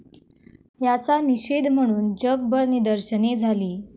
याचा निषेध म्हणून जगभर निदर्शने झाली.